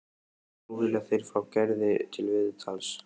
Nú vilja þeir fá Gerði til viðtals.